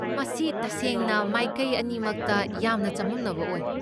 ꯃꯁꯤ ꯇꯁꯦꯡꯅ ꯃꯥꯏꯀꯩ ꯑꯅꯤꯃꯛꯇ ꯌꯥꯝꯅ ꯆꯃꯝꯅꯕ ꯑꯣꯏ꯫